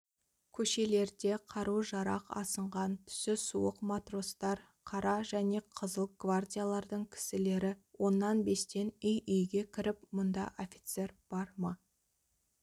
көшелерде қару-жарақ асынған түсі суық матростар қара және қызыл гвардиялардың кісілері оннан-бестен үй-үйге кіріп мұнда офицер бар ма